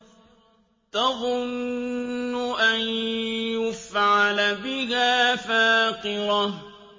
تَظُنُّ أَن يُفْعَلَ بِهَا فَاقِرَةٌ